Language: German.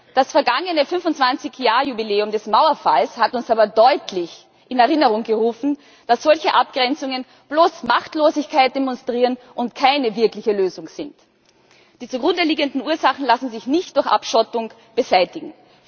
Das vergangene 25 Jahr Jubiläum des Mauerfalls hat uns aber deutlich in Erinnerung gerufen, dass solche Abgrenzungen bloß Machtlosigkeit demonstrieren und keine wirkliche Lösung sind. Die zugrundeliegenden Ursachen lassen sich nicht durch Abschottung beseitigen.